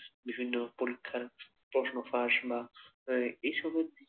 বিভিন্ন পরীক্ষার প্রশ্ন ফাঁস বা এইসব